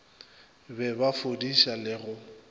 be ba fudiša le go